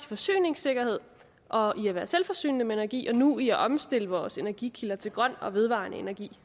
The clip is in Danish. forsyningssikkerhed og i at være selvforsynende med energi og nu i at omstille vores energikilder til grøn og vedvarende energi